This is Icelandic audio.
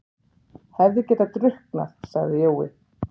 Hefði getað drukknað, sagði Jói.